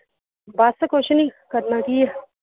ਬੱਸ ਕੁਸ਼ ਨੀ ਕਰਨਾ ਕਿ ਆ